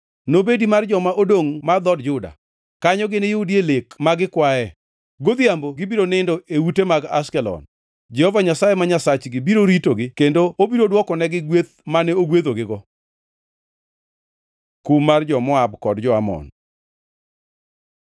Nobedi mar joma odongʼ mar dhood Juda; kanyo gini yudie lek ma gikwae. Godhiambo gibiro nindo e ute mag Ashkelon. Jehova Nyasaye ma Nyasachgi biro ritogi kendo obiro dwokonegi gweth mane ogwedhogigo. Kum mar jo-Moab kod jo-Amon